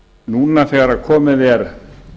núna þegar komin er